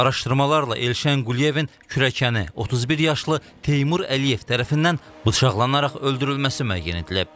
Araşdırmalarla Elşən Quliyevin kürəkəni 31 yaşlı Teymur Əliyev tərəfindən bıçaqlanaraq öldürülməsi müəyyən edilib.